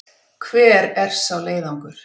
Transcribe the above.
Hver er sá leiðangur?